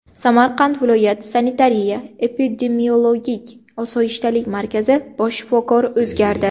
Samarqand viloyat sanitariya-epidemiologik osoyishtalik markazi bosh shifokori o‘zgardi.